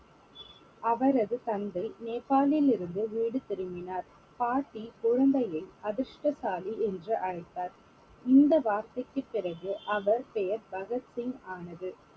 அவரது தந்தை நேபாளிலிருந்து வீடு திரும்பினார் பாட்டி குழந்தையை அதிர்ஷ்டசாலி என்று அழைத்தார் இந்த வார்த்தைக்கு பிறகு அவர் பெயர் பகத் சிங் ஆனது